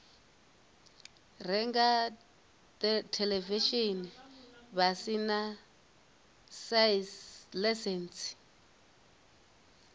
renga theḽevishini vha sina ḽaisentsi